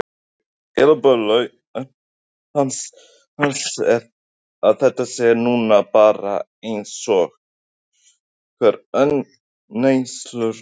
Eru það skilaboð löggjafans að þetta sé nú bara eins og hver önnur neysluvara?